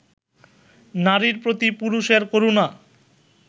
নারীর প্রতি পুরুষের করুণা